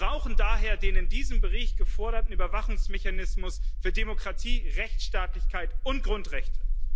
Wir brauchen daher den in diesem Bericht geforderten Überwachungsmechanismus für Demokratie, Rechtsstaatlichkeit und Grundrechte.